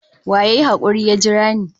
Wa ya yi hakuri ya jira ni?